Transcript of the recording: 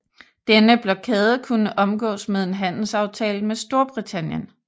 Denne blokade kunne omgås med en handelsaftale med Storbritannien